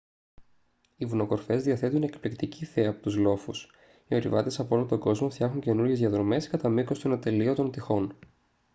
οι βουνοκορφές διαθέτουν εκπληκτική θέα από τους λόφους οι ορειβάτες απ' όλο τον κόσμο φτιάχνουν καινούριες διαδρομές κατά μήκος των ατελείωτων τειχών